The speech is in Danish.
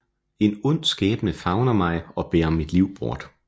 En ond skæbne favner mig og bærer mit liv bort